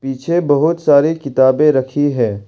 पीछे बहोत सारी किताबें रखी हैं।